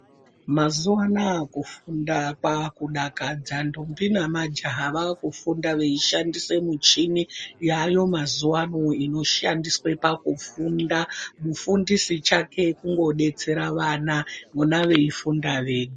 Mazuva anaya kufunda kwakudakadza ndombi namajaha vakufunda veishandise michini yayo mazuva ano inoshandiswe pakufunda. Mufundisi chake kungobetsera vana vona veifunda wega.